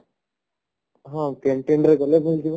ହାଁ canteen ରେ ଗଲେ ମିଳିଯିବ